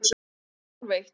Klukkan er hálfeitt.